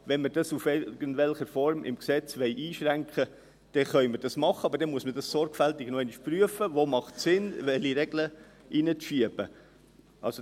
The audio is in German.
Wenn wir dies in irgendeiner Form im Gesetz einschränken wollen, können wir dies tun, aber man sollte noch einmal sorgfältig prüfen, wo es Sinn macht und welche Regeln einzuschieben wären.